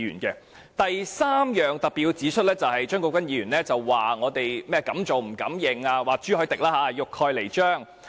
第三，我特別要指出張國鈞議員說我們敢做不敢認，說朱凱廸議員欲蓋彌彰。